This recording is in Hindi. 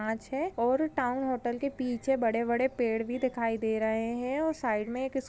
--कांच है और टाउन होटल के पीछे बड़े बड़े पेड़ भी दिखाई दे रहे है और साइड मे एक--